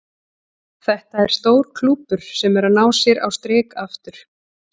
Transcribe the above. Þetta er stór klúbbur sem er að ná sér á strik aftur.